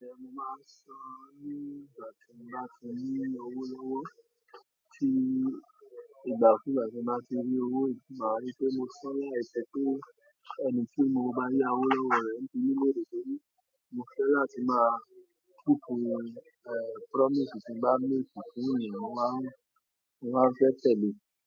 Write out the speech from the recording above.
Mo máa ń san ní ìgbà tí mo bá ti ní owó lówó, tí ìgbàkuugbà tí mo bá ti rí owó yìí, máa ń rí pé mo san eekan pere ẹni tí mo bá yá owó lọ́wọ́ rẹ̀ nítorí na de ke re, mo fẹ́ láti máa túkú promise tí bá make fún ènìyàn, mo máa ń, mo máa ń fẹ́ tẹ̀lé.